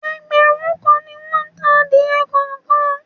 Ẹgbẹ̀rún kan ni won ta adìẹ kọ̀ọ̀kan.